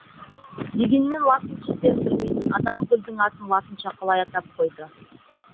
дегенмен латын сөздерін білмейтін адам гүлдің атын латынша қалай атап қойды